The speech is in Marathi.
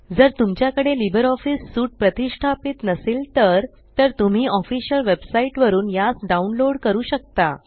जर तुमच्याकडे लिबर ऑफीस सूट प्रतिष्ठापीत नसेल तर तर तुम्ही ऑफिशियल वेबसाइट वरुन यास डाउनलोड करू शकता